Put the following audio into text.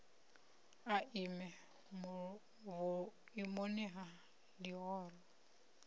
a ime vhuimoni ha ḽihoro